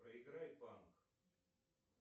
проиграй панк